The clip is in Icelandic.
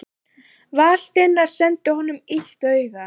Valdimar sendi honum illt auga.